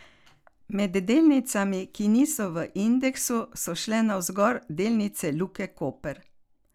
Med delnicami, ki niso v indeksu, so šle navzgor delnice Luke Koper.